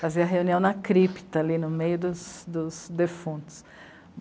Fazia reunião na crípta, ali no meio dos, dos defuntos.